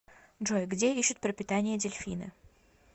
джой где ищут пропитание дельфины